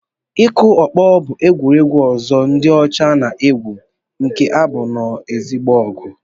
Ịkụ ọkpọ bụ egwuregwu ọzọ ndị ọcha na-egwu nke na-abụ nnọọ ezigbo ọgụ